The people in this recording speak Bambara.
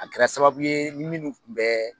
A kɛra sababu ye minnu tun bɛ